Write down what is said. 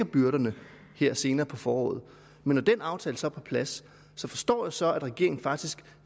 byrderne her senere på foråret men når den aftale så er på plads forstår jeg så at regeringen faktisk